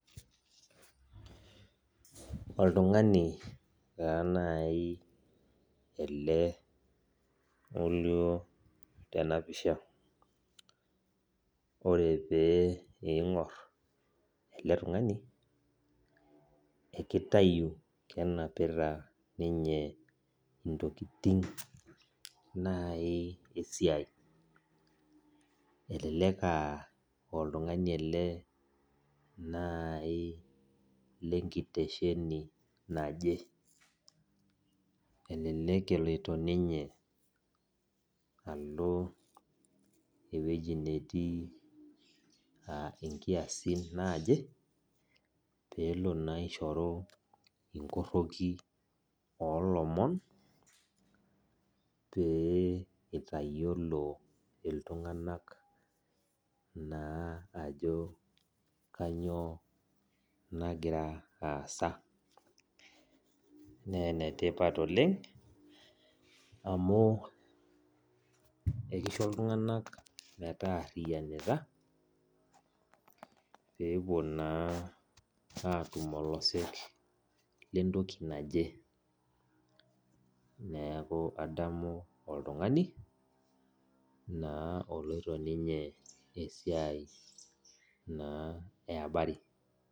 Oltung'ani taa nai ele olio tenapisha. Ore pee ing'or ele tung'ani, ekitayu kenapita ninye intokiting nai esiai. Elelek ah oltung'ani ele nai lenkitesheni naje. Elelek eloito ninye alo ewueji netii inkiasin najo, pelo naa aishoru inkorroki olomon, pee itayiolo iltung'anak naa ajo kanyioo nagira aasa. Nenetipat oleng, amu ekisho iltung'anak metaarriyianita, pepuo naa atum olosek lentoki naje. Neeku adamu oltung'ani, naa oloito ninye esiai naa e abari.